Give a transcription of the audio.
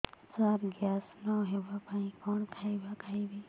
ସାର gas ନ ହେବା ପାଇଁ କଣ ଖାଇବା ଖାଇବି